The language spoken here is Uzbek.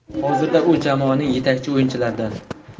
Hozirda u jamoaning yetakchi o‘yinchilaridan.